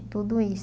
tudo isso.